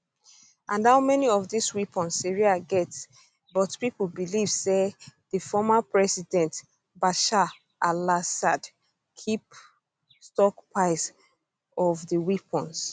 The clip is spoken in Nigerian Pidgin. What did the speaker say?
um and how many of dis weapons syria get but pipo believe say di former president bashar alassad keep stockpiles of di weapons